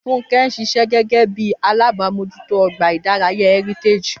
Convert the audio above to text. Fúnkẹ́ ń ṣiṣẹ́ gẹ́gẹ́ bí alábòójútó ọgbà ìdárayá Heritage